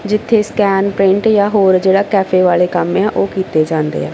ਜਿੱਥੇ scan print ਜਾ ਹੋਰ ਜਿਹੜਾ ਕੈਫੇ ਵਾਲੇ ਕੰਮ ਏ ਆ ਓਹ ਕੀਤੇ ਜਾਂਦੇ ਆ।